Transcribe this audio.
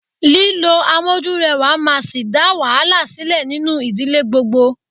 Lílo amójúrẹwà máa sì dá wàhálà sílẹ̀ nínú ìdílé gbogbo.